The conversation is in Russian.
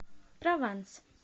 прованс